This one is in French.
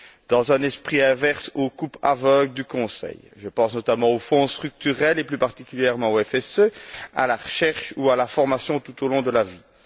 dans un esprit inverse aux coupes aveugles du Conseil. Je pense notamment aux Fonds structurels, et plus particulièrement au FSE, à la recherche ou à la formation tout au long de la vie.